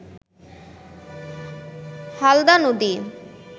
হালদা নদী